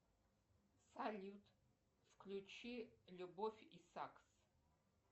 салют включи любовь и сакс